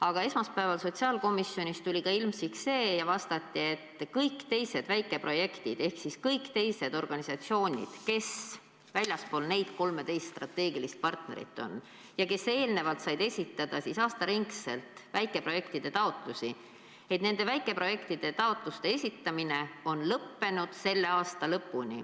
Aga esmaspäeval sotsiaalkomisjonis tuli ilmsiks see, et kõik teised väikeprojektid ehk kõik teised organisatsioonid, välja arvatud need 13 strateegilist partnerit, said eelnevalt esitada aasta ringi väikeprojektide taotlusi, aga nende taotluste esitamine on lõppenud selle aasta lõpuni.